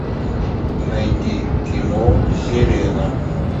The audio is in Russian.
найди кино сирена